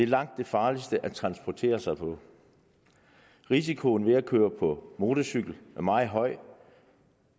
langt det farligste at transportere sig på risikoen ved at køre på motorcykel er meget høj